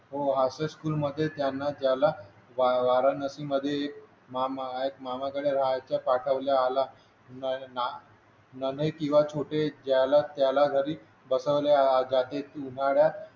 हो अशा स्कूल मध्ये त्याला वाराणसी मध्ये मामा एक मामाकडे राहायचा पाठवले आला नै ना नन्हे किंवा छोटे ज्याला त्याला बसवले जाते उन्हाळ्यात